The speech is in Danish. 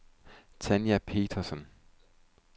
Tanja Petersson